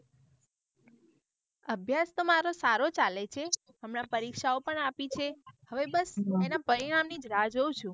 અભ્યાસ તો મારો સારો ચાલે છે હમણાં પરીક્ષાઓ પણ આપી છે હવે બસ એના પરિણામ ની જ રાહ જોઉં છું.